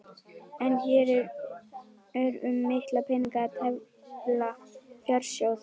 En hér er um mikla peninga að tefla, fjársjóð!